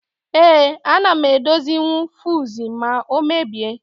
Ee, ana m edozinwu fiuzu ma ọ mebie.